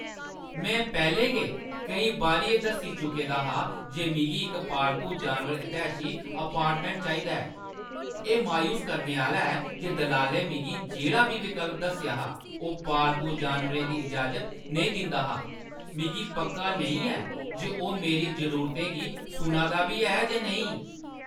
मैं पैह्‌लें गै केईं बारी एह् दस्सी चुके दा हा जे मिगी इक पालतू जानवर-हितेशी अपार्टमेंट चाहिदा ऐ। एह् मायूस करने आह्‌ला ऐ जे दलालै ने मिगी जेह्ड़ा बी विकल्प दस्सेआ हा, ओह् पालतू जानवरें दी इजाज़त नेईं दिंदा हा। मिगी पक्का नेईं ऐ जे ओह् मेरी जरूरतें गी सुना दा बी ऐ जां नेईं।